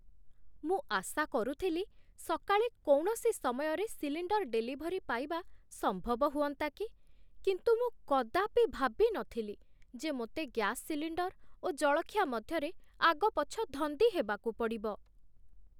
ମୁଁ ଆଶା କରୁଥିଲି ସକାଳେ କୌଣସି ସମୟରେ ସିଲିଣ୍ଡର୍ ଡେଲିଭରି ପାଇବା ସମ୍ଭବ ହୁଅନ୍ତା କି। କିନ୍ତୁ ମୁଁ କଦାପି ଭାବି ନଥିଲି ଯେ ମୋତେ ଗ୍ୟାସ ସିଲିଣ୍ଡର୍ ଓ ଜଳଖିଆ ମଧ୍ୟରେ ଆଗପଛ ଧନ୍ଦିହେବାକୁ ପଡ଼ିବ!